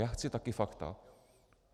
Já chci taky fakta.